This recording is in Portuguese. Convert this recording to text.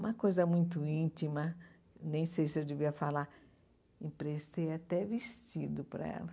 Uma coisa muito íntima, nem sei se eu devia falar, emprestei até vestido para ela.